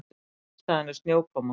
Ástæðan er snjókoma